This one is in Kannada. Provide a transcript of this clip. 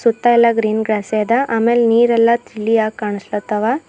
ಸುತ್ತಾ ಎಲ್ಲಾ ಗ್ರೀನ್ ಗ್ರಾಸ್ ದೆ ಅದ ಆಮೇಲೆ ನೀರ ಎಲ್ಲಾ ತಿಳಿ ಆಗಿ ಕಾನಸ್ಲಾತವ.